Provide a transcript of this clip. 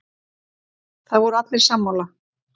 Það voru allir sammála.